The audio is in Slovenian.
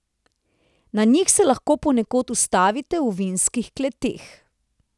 Na njih se lahko ponekod ustavite v vinskih kleteh.